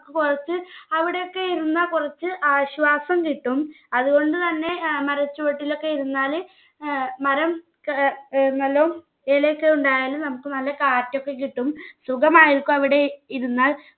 കുറച്ച് അവിടെയൊക്കെ ഇരുന്നാൽ കുറച്ച് ആശ്വാസം കിട്ടും. അതുകൊണ്ട് തന്നെ ഏർ മരച്ചുവട്ടിലൊക്കെ ഇരുന്നാല് ഏർ മരം ക ഏർ നല്ലോം ഇലയൊക്കെ ഉണ്ടായാല് നമ്മുക്ക് നല്ല കാറ്റൊക്കെ കിട്ടും. സുഖമായിരിക്കും അവിടെ ഇരുന്നാൽ